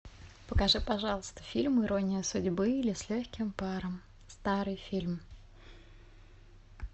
покажи пожалуйста фильм ирония судьбы или с легким паром старый фильм